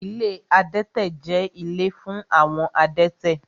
Ilé adẹ́tẹ̀ jẹ́ ilé fún àwọn adẹ́tẹ̀